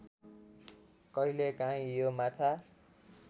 कहिलेकाहीँ यो माछा